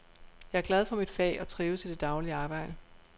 Jeg er glad for mit fag og trives i det daglige arbejde.